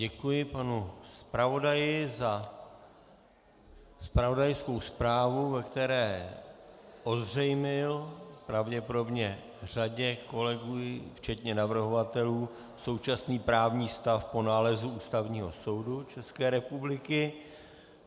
Děkuji panu zpravodaji za zpravodajskou zprávu, ve které ozřejmil pravděpodobně řadě kolegů, včetně navrhovatelů, současný právní stav po nálezu Ústavního soudu České republiky.